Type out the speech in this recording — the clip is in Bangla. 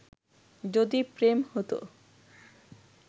যদি প্রেম হতো